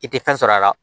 I tɛ fɛn sɔrɔ a la